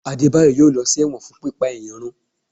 Adebayo a ló sí ẹwọ́n fún pipá eyán rùn